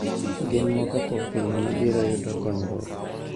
Gin moko kuom pinje mabiro yudo konyruok.